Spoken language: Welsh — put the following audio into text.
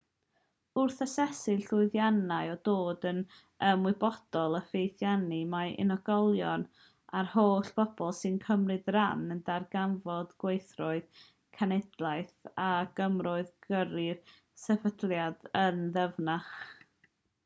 wrth asesu'r llwyddiannau a dod yn ymwybodol o fethiannau mae unigolion a'r holl bobl sy'n cymryd rhan yn darganfod gwerthoedd cenhadaeth a grymoedd gyrru'r sefydliad yn ddyfnach